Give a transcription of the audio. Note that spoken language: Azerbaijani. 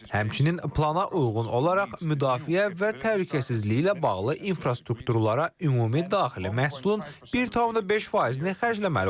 Həmçinin plana uyğun olaraq müdafiə və təhlükəsizliyi ilə bağlı infrastrukturlara ümumi daxili məhsulun 1,5%-ni xərcləməli olacağıq.